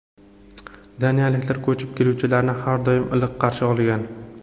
Daniyaliklar ko‘chib keluvchilarni har doim iliq qarshi olgan.